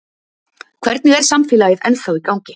Hvernig er samfélagið ennþá í gangi?